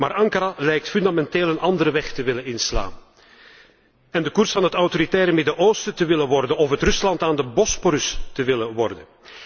Maar Ankara lijkt fundamenteel een andere weg te willen inslaan, en de koers van het autoritaire Midden Oosten te willen volgen of het Rusland aan de Bosporus te willen worden.